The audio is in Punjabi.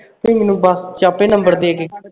ਤੂੰ ਮੈਨੂੰ ਬਸ ਵਿਚ ਆਪੇ ਨੰਬਰ ਦੇ ਕੇ